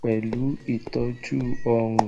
pẹlu itọju ọrun